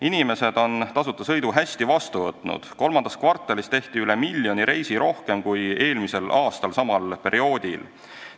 Inimesed on tasuta sõidu hästi vastu võtnud: kolmandas kvartalis tehti üle miljoni reisi rohkem kui eelmise aasta samal perioodil.